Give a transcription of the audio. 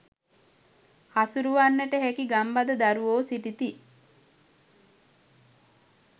හසුරුවන්නට හැකි ගම්බද දරුවෝ සිටිති